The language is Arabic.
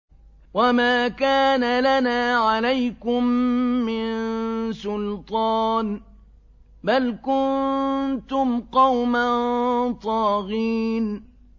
وَمَا كَانَ لَنَا عَلَيْكُم مِّن سُلْطَانٍ ۖ بَلْ كُنتُمْ قَوْمًا طَاغِينَ